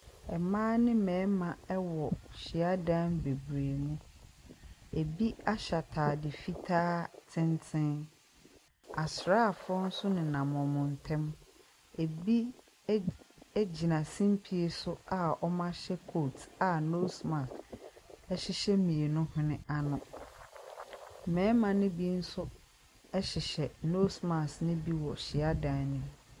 Mmaa ne mmarima wɔ hyiadan bebiree mu. Ebi ahyɛ ataade fitaa tenten. Asraafoɔ nso nenam wɔn ntam. Ebi gyina simpie so a wɔahyɛ coat a nose mask hyehyɛ mmienu hwene ano. Mmarima no bi nso hyehyɛ nose mask no bi wɔ hyiadan no mu.